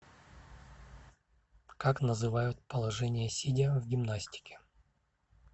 как называют положение сидя в гимнастике